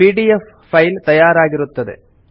PDF file ತಯಾರಾಗಿರುತ್ತದೆ